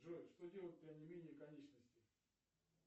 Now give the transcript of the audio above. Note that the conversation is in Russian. джой что делать при онемении конечностей